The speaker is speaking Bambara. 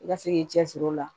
I ka se k'i cɛsiri o la